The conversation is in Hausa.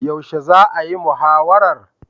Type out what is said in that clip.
Yaushe za'a yi muhawarar?